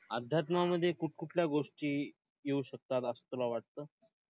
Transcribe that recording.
अध्यात्मामध्ये कुठ-कुठल्या गोष्टी येऊ शकतात असं तुला वाटतं?